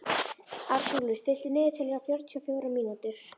Arnúlfur, stilltu niðurteljara á fjörutíu og fjórar mínútur.